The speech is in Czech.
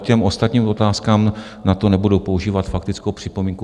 K těm ostatním otázkám, na to nebudu používat faktickou připomínku.